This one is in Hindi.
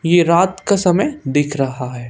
ये रात का समय दिख रहा है।